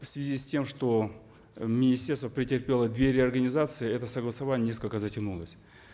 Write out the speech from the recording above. в связи с тем что э министерство претерпело две реорганизации это согласование несколько затянулось